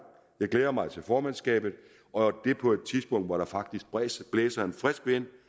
jeg glæder mig til formandskabet og det på et tidspunkt hvor der faktisk blæser en frisk vind